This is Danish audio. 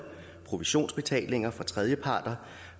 provisionsbetalinger fra tredjeparter